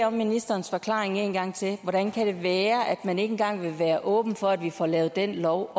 om ministerens forklaring en gang til hvordan kan det være at man ikke engang vil være åben for at vi får lavet den lov